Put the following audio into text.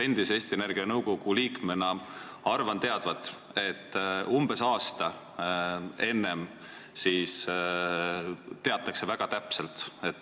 Eesti Energia nõukogu endise liikmena ma arvan teadvat, et umbes aasta enne teatakse plaane väga täpselt.